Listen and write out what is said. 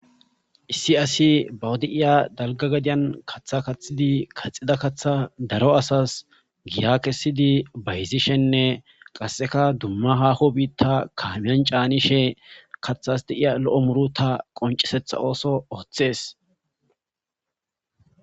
Issi asi bawu de7iya dalga gadiyan katha kathidi kaxida kaththa daro asas giya kessidi bayzishenne qasseka dumma haaho biitta kaamiyan caanishe kaththas deiya lo7o muuruta qoncesetha ooso oththees.